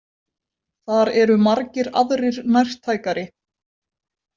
Þar eru margir aðrir nærtækari.